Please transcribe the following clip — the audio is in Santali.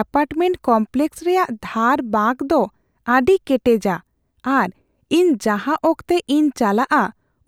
ᱮᱯᱟᱨᱴᱢᱮᱱᱴ ᱠᱚᱢᱯᱞᱮᱠᱥ ᱨᱮᱭᱟᱜ ᱫᱷᱟᱨ ᱵᱟᱸᱠ ᱫᱚ ᱟᱹᱰᱤ ᱠᱮᱴᱮᱡᱼᱟ ᱟᱨ ᱤᱧ ᱡᱟᱦᱟᱸ ᱚᱠᱛᱮ ᱤᱧ ᱪᱟᱞᱟᱣᱚᱜᱼᱟ